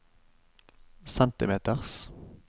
centimeters